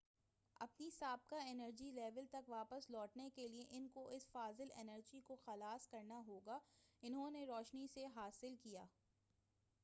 اپنی سابقہ energy level تک واپس لوٹنے کے لئے ان کو اس فاضل انرجی کو خلاص کرنا ہوگا انہوں نے روشنی سے حا صل کیا